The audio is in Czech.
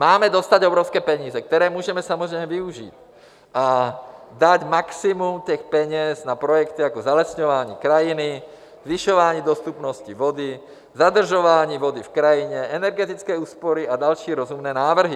Máme dostat evropské peníze, které můžeme samozřejmě využít a dát maximum těch peněz na projekty jako zalesňování krajiny, zvyšování dostupnosti vody, zadržování vody v krajině, energetické úspory a další rozumné návrhy.